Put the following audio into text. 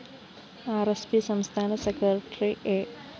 R S P സംസ്ഥാന secretary A